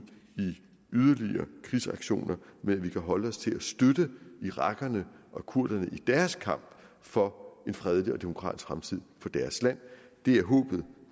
i yderligere krigsaktioner men at vi kan holde os til at støtte irakerne og kurderne i deres kamp for en fredelig og demokratisk fremtid i deres land det er håbet